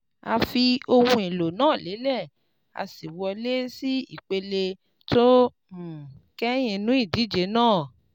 A fi ohun èlò náà lélẹ̀, a sì wọlé sí ìpele tó um kẹ́yìn nínú ìdíje náà,